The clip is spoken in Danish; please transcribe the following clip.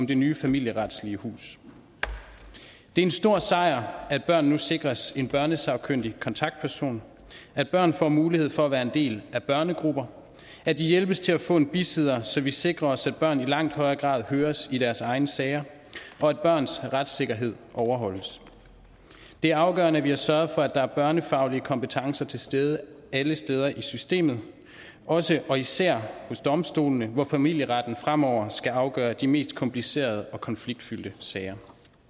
det nye familieretslige hus det en stor sejr at børn nu sikres en børnesagkyndig kontaktperson at børn får mulighed for at være en del af børnegrupper at de hjælpes til at få en bisidder så vi sikrer os at børn i langt højere grad høres i deres egne sager og at børns retssikkerhed overholdes det er afgørende at vi har sørget for at der er børnefaglige kompetencer til stede alle steder i systemet også og især hos domstolene hvor familieretten fremover skal afgøre de mest komplicerede og konfliktfyldte sager